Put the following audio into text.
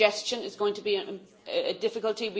Congestion is going to be a difficulty.